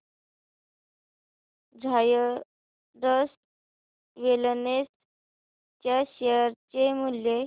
Zydus wellness च्या share चे मूल्य